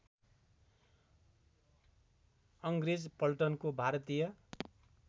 अङ्ग्रेज पल्टनको भारतीय